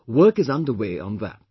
Work is under way on that